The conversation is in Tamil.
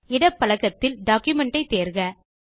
இடப் பலகத்தில் documentஐ தேர்க